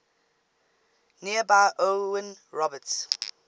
nearby owen roberts